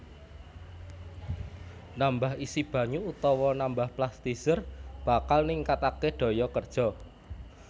Nambah isi banyu utawa nambah plasticizer bakal ningkataké daya kerja